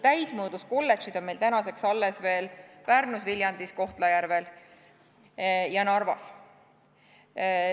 Täismõõdus kolledžid on meil tänaseks alles veel Pärnus, Viljandis, Kohtla-Järvel ja Narvas.